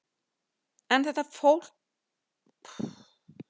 En þetta tók svo mikið á hann að hann veiktist og meira að segja allharkalega.